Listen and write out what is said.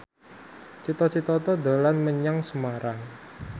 Cita Citata dolan menyang Semarang